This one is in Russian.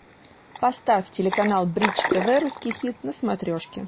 поставь телеканал бридж тв русский хит на смотрешке